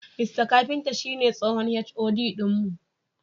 Mista Kafinta shine tsohon HOD din mu.